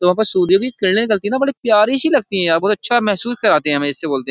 तो वहां पर सूर्य की किरणें निकलती है ना बड़ी प्यारी सी लगती है यार बोहोत अच्छा महसूस कराते हैं हमें इससे बोलते --